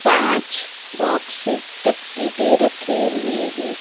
पांच बॉक्स दप्ति के रखे हुए हैं।